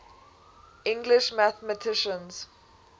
english mathematicians